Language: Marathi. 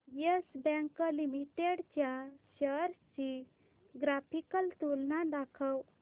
येस बँक लिमिटेड च्या शेअर्स ची ग्राफिकल तुलना दाखव